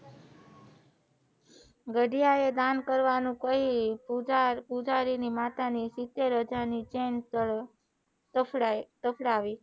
ગઢિયા એ દાન કરવાનું કહી ઉધારીમાતા ની સિત્તેરે હાજર ની ચેન તફડાવી